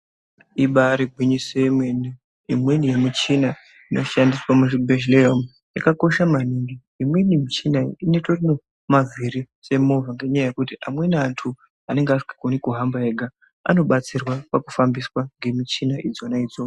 Ibari gwinyiso yemene imweni yemichina inoshandiswa muzvibhedhlera umu yakakosha maningi imweni michina itorine mavhiri semovha ngenyaya yekuti amweni antu anenga asikagoni kuhamba oga anobatsirwa pakufambiswa ngemichina idzona idzo.